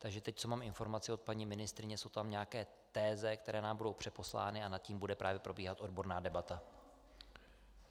Takže teď, co mám informace od paní ministryně, jsou tam nějaké teze, které nám budou přeposlány, a nad nimi bude právě probíhat odborná debata.